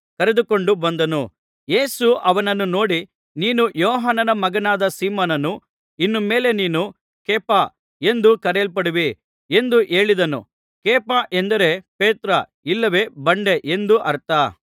ಅವನನ್ನು ಯೇಸುವಿನ ಬಳಿಗೆ ಕರೆದುಕೊಂಡು ಬಂದನು ಯೇಸು ಅವನನ್ನು ನೋಡಿ ನೀನು ಯೋಹಾನನ ಮಗನಾದ ಸೀಮೋನನು ಇನ್ನು ಮೇಲೆ ನೀನು ಕೇಫ ಎಂದು ಕರೆಯಲ್ಪಡುವಿ ಎಂದು ಹೇಳಿದನು ಕೇಫ ಎಂದರೆ ಪೇತ್ರ ಇಲ್ಲವೆ ಬಂಡೆ ಎಂದು ಅರ್ಥ